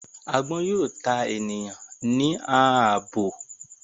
Agbọn yoo ta eniyan ni aabo